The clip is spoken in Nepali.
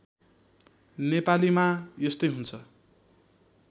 नेपालीमा यस्तै हुन्छ